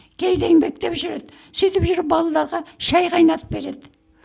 кейде еңбектеп жүреді сөйтіп жүріп балаларға шай қайнатып береді